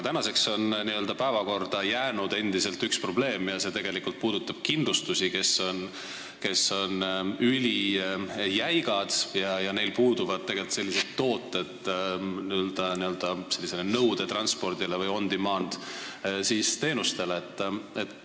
Nüüdseks on aga endiselt päevakorrale jäänud üks probleem, see puudutab kindlustusi, kes on ülijäigad ja kellel puuduvad tegelikult tooted nõudetranspordile või on-demand-teenustele.